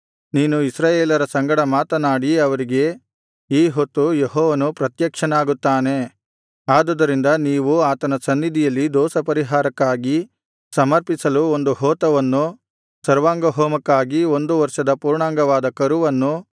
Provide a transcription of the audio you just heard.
ನೀನು ಇಸ್ರಾಯೇಲರ ಸಂಗಡ ಮಾತನಾಡಿ ಅವರಿಗೆ ಈ ಹೊತ್ತು ಯೆಹೋವನು ಪ್ರತ್ಯಕ್ಷನಾಗುತ್ತಾನೆ ಆದುದರಿಂದ ನೀವು ಆತನ ಸನ್ನಿಧಿಯಲ್ಲಿ ದೋಷಪರಿಹಾರಕ್ಕಾಗಿ ಸಮರ್ಪಿಸಲು ಒಂದು ಹೋತವನ್ನು ಸರ್ವಾಂಗಹೋಮಕ್ಕಾಗಿ ಒಂದು ವರ್ಷದ ಪೂರ್ಣಾಂಗವಾದ ಕರುವನ್ನು